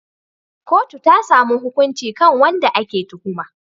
Kotu ta samu hukunci kan wanda ake tuhuma.